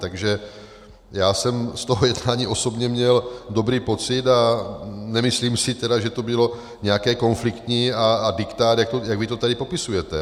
Takže já jsem z toho jednání osobně měl dobrý pocit, a nemyslím si tedy, že to bylo nějaké konfliktní a diktát, jak vy to tady popisujete.